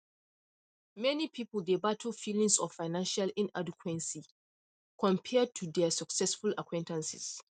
meni pipul dey battle feelings of financial inadequacy compared to dia successful acquaintances